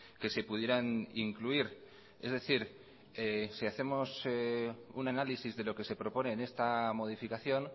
que se pudieran incluir es decir si hacemos un análisis de lo que se propone en esta modificación